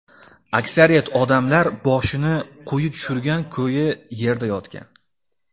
Aksariyat odamlar boshini quyi tushirgan ko‘yi yerda yotgan.